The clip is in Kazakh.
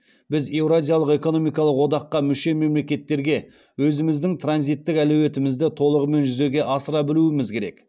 біз еуразиялық экономикалық одаққа мүше мемлекеттерге өзіміздің транзиттік әлеуетімізді толығымен жүзеге асыра білуіміз керек